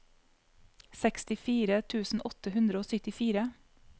sekstifire tusen åtte hundre og syttifire